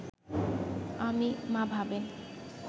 আমি, মা ভাবেন